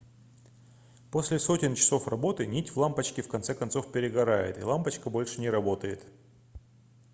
после сотен часов работы нить в лампочке в конце концов перегорает и лампочка больше не работает